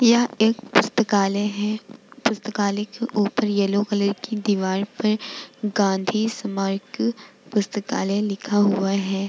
यह एक पुस्तकालय है पुस्तकालय के ऊपर येलो कलर की दीवाल पर गाँधी स्मरक पुस्तकालय लिखा हुआ है।